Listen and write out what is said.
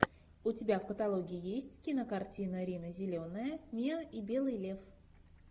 у тебя в каталоге есть кинокартина рина зеленая миа и белый лев